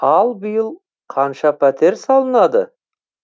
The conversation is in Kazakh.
ал биыл қанша пәтер салынады